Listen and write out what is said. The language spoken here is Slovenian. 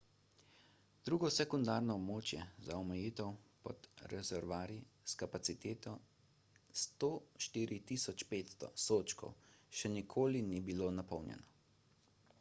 drugo sekundarno območje za omejitev pod rezervoarji s kapaciteto 104.500 sodčkov še ni bilo napolnjeno